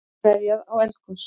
Veðjað á eldgos